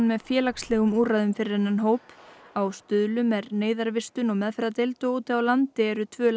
með félagslegum úrræðum fyrir þennan hóp á Stuðlum er neyðarvistun og meðferðardeild og úti á landi eru tvö